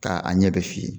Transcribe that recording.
K'a a ɲɛ bɛ f'i ye